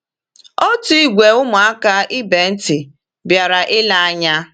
Otu ìgwè ụmụaka ibe ntị bịara ilee anya.